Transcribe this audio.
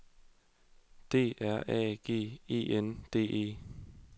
D R A G E N D E